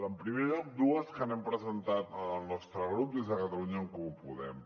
en primer lloc dues que hem presentat en el nostre grup des de catalunya en comú podem